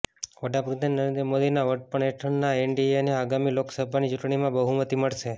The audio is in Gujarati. વડાપ્રધાન નરેન્દ્ર મોદીના વડપણ હેઠળના એનડીએને આગામી લોકસભાની ચૂંટણીમાં બહુમતી મળશે